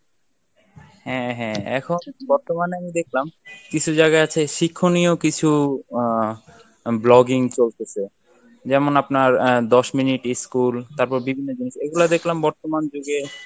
হ্যাঁ হ্যাঁ এখন বর্তমানে আমি দেখলাম কিছু জায়গা আছে শিক্ষণীয় কিছু আহ vlogging চলতেছে যেমন আপনার আহ দশ মিনিট school তারপর বিভিন্ন জিনিস এগুলা দেখলাম বর্তমান যুগে